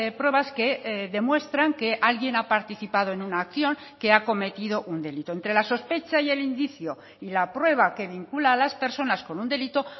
pruebas que demuestran que alguien ha participado en una acción que ha cometido un delito entre la sospecha y el indicio y la prueba que vincula a las personas con un delito